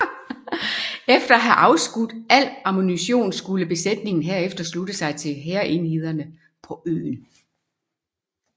Efter at have afskudt al ammunition skulle besætningen herefter slutte sig til hærenhederne på øen